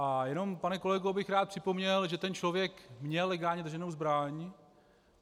A jenom, pane kolego, bych rád připomněl, že ten člověk měl legálně drženou zbraň.